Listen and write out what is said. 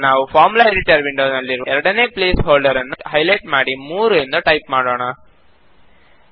ಈಗ ನಾವು formula editor window ನಲ್ಲಿರುವ ಎರಡನೇ ಪ್ಲೇಸ್ ಹೋಲ್ಡರ್ ನ್ನು ಹೈ ಲೈಟ್ ಮಾಡಿ 3 ಎಂದು ಟೈಪ್ ಮಾಡೋಣ